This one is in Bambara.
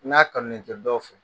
N k'a kanunen tƐ dɔw fɛ